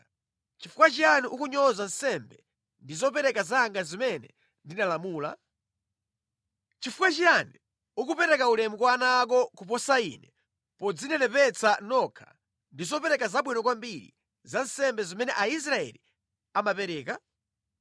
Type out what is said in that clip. Nʼchifukwa chiyani ukunyoza nsembe ndi zopereka zanga zimene ndinalamula? Nʼchifukwa chiyani ukupereka ulemu kwa ana ako kuposa Ine podzinenepetsa nokha ndi zopereka zabwino kwambiri za nsembe zimene Aisraeli amapereka?’ ”